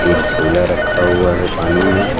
एक झोला रखा हुआ है पानी में।